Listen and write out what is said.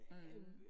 Mh